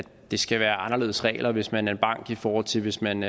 det skal være anderledes regler hvis man er en bank i forhold til hvis man